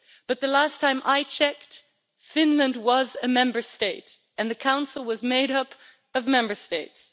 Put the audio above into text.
But the last time I checked, Finland was a Member State and the Council was made up of Member States.